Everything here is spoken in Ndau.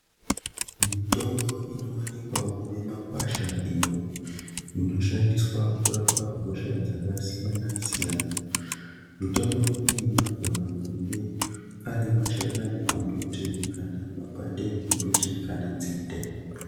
Mitombo inowanikwawo mimakwasha iyo inoshandiswa kurapa hosha dzakasiyana siyana mitombo iyi inogana kunge ari mashakani embiti kana mapande embiti kana nzinde.